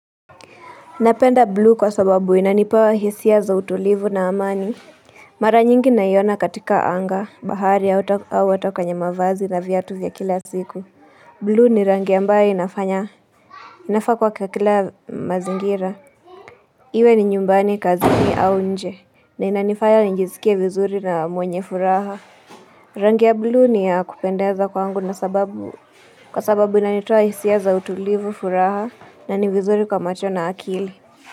Napenda blue kwa sababu inanipa hisia za utulivu na amani Mara nyingi ninaiona katika anga, bahari au hata kwenye mavazi na viatu vya kila siku blue ni rangi ambayo inafanya, inafaa kuwa kwa kila mazingira Iwe ni nyumbani kazini au nje, na inanifaya nijisikie vizuri na mwenye furaha Rangi ya blue ni ya kupendeza kwangu kwa sababu inanitoa hisia za utulivu furaha na ni vizuri kwa macho na akili.